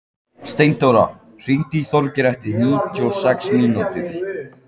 Steindóra, hringdu í Þorgerði eftir níutíu og sex mínútur.